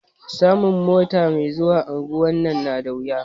Samun mota me zuwa unguwan nan na da wuya